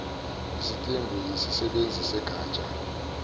isitembu yisisebenzi segatsha